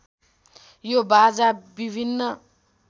यो बाजा विभिन्न